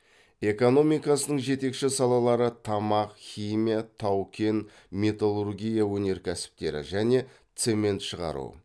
экономикасының жетекші салалары тамақ химия тау кен металлургия өнеркәсіптері және цемент шығару